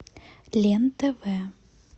лен тв